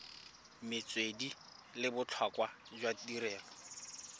metswedi le botlhokwa jwa tirelo